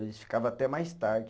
Eles ficava até mais tarde.